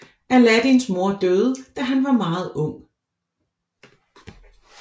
Aladdins mor døde da han var meget ung